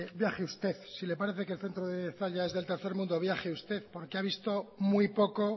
viaje usted si le parece que el centro de zalla es del tercer mundo viaje usted porque ha visto muy poco